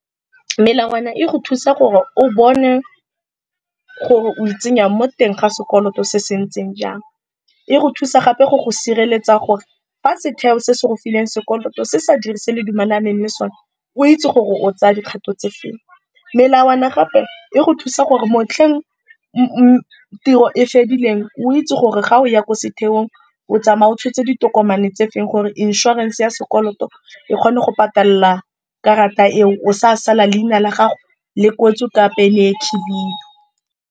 Melawana e go thusa gore o bone gore o itsenya mo teng ga sekoloto se se ntseng jang. E go thusa gape go go sireletsa gore fa se theo se se go fileng sekoloto se sa dirise le dumelane le sone, o itse gore o tsaya dikgato tse feng. Melawana gape e go thusa gore motlheng tiro e fedileng o itse gore ga o ya ko setheong o tsamaya o tshotse ditokomane tse feng, gore inshorense ya sekoloto e kgone go patalela karata eo, o sa sala leina la gago le kwetswe ka pene e khibidu.